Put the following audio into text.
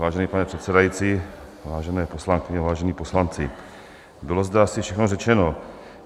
Vážený pane předsedající, vážené poslankyně, vážení poslanci, bylo zde asi všechno řečeno.